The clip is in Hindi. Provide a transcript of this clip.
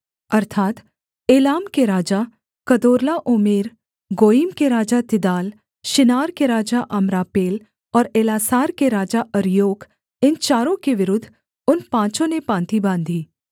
अर्थात् एलाम के राजा कदोर्लाओमेर गोयीम के राजा तिदाल शिनार के राजा अम्रापेल और एल्लासार के राजा अर्योक इन चारों के विरुद्ध उन पाँचों ने पाँति बाँधी